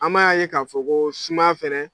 An m'a ye ka fɔ ko sumaya fɛnɛ.